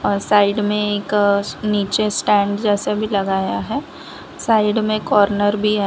अं side में एक नीचे स्टैंड जैसे भी लगाया है साइड में कॉर्नर भी है।